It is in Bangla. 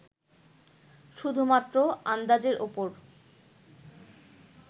শুধুমাত্র আন্দাজের ওপর